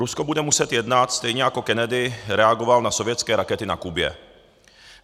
Rusko bude muset jednat, stejně jako Kennedy reagoval na sovětské rakety na Kubě.